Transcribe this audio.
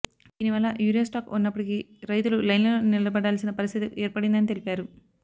దీని వల్ల urea stock ఉన్నప్పటికీ రైతులు లైన్లలో నిలబడాల్సిన పరిస్థితి ఏర్పడిందని తెలిపారు